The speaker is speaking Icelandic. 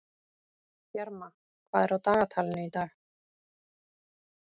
Bjarma, hvað er á dagatalinu í dag?